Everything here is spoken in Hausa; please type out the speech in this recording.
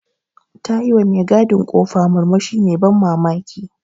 Ta yi wa me gadin ƙofa murmushi mai ban mamaki.